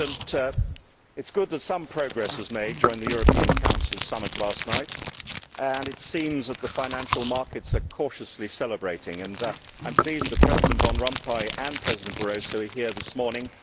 Mr President, it is good that some progress was made during the European Council Summit last night and it seems that the financial markets are cautiously celebrating. I am pleased that President Van Rompuy and President Barroso are here this morning.